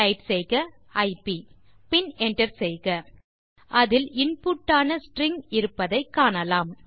type செய்க ஐப் பின் என்டர் செய்க அதில் இன்புட் ஆன ஸ்ட்ரிங் இருப்பதை காணலாம்